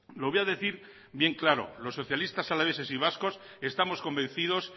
lo voy a decir bien claro los socialistas alaveses y vascos estamos convencidos